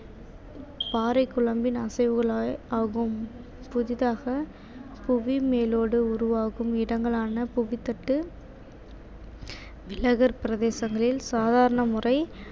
பாறைக் குழம்பின் அசைவுகளால் ஆகும் புதிதாக புவி மேலோடு உருவாகும் இடங்களான புவித்தட்டு பிரதேசங்களில் சாதாரண முறை